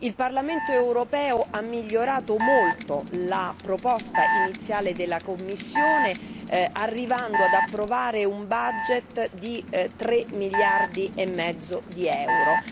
Il Parlamento europeo ha migliorato molto la proposta iniziale della Commissione, arrivando ad approvare un bilancio di 3 miliardi e mezzo di euro.